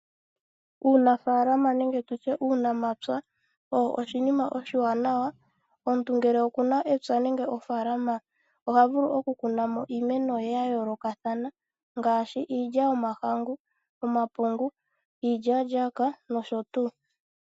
Uunafaalama nenge tutye uunamapya oshinima oshiwanawa. Omuntu ngele okuna epya nenge ofaalama oha vulu okukunamo iimeno ye ongaashi iilya yomahangu, iilya-lyaka nosho tuu.